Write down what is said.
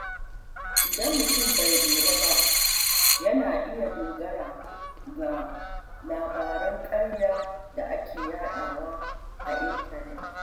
Idan mutum bai lura ba, yana iya dogara da labaran ƙarya da ake yadawa a intanet.